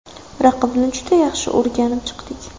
Raqibni juda yaxshi o‘rganib chiqdik.